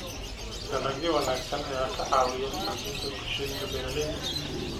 Dalagyo wanaagsan ayaa ka caawiya xoojinta bulshooyinka beeralayda.